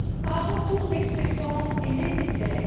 Un retour d'expérience est nécessaire.